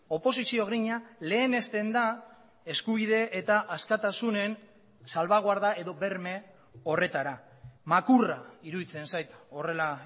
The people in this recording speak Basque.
oposizio grina lehenesten da eskubide eta askatasunen salbaguarda edo berme horretara makurra iruditzen zait horrela